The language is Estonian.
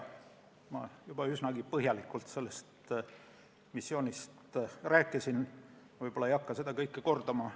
Ma rääkisin sellest missioonist juba üsnagi põhjalikult ega hakka seda kõike kordama.